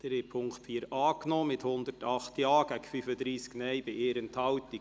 Sie haben die Ziffer 4 als Postulat angenommen mit 108 Ja- bei 35 Nein-Stimmen und 1 Enthaltung.